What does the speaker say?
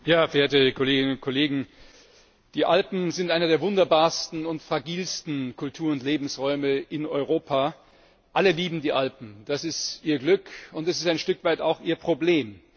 Frau Präsidentin, verehrte Kolleginnen und Kollegen! Die Alpen sind einer der wunderbarsten und fragilsten Kultur und Lebensräume in Europa. Alle lieben die Alpen, das ist ihr Glück, und es ist ein Stück weit auch ihr Problem.